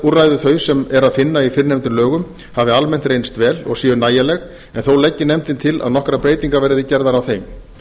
viðurlagaúrræði þau sem er að finna í fyrrnefndum lögum hafi almennt reynst vel og séu nægjanleg en þó leggi nefndin til að nokkrar breytingar verði gerðar á þeim